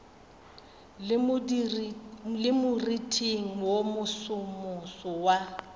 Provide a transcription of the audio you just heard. le moriting wo mosomoso wa